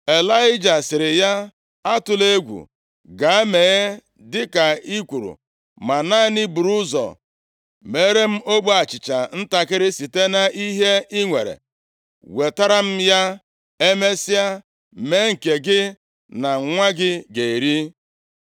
Ịlaịja sịrị ya, “Atụla egwu! Gaa mee dịka i kwuru. Ma naanị buru ụzọ meere m ogbe achịcha ntakịrị site nʼihe i nwere, wetara m ya. Emesịa, mee nke gị na nwa gị ga-eri.